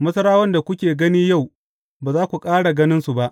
Masarawan da kuke gani yau, ba za ku ƙara ganinsu ba.